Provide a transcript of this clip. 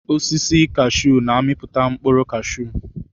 Osisi kashuu na-amiputa mkpụrụ cashuu.